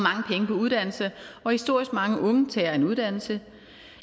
uddannelse og historisk mange unge tager en uddannelse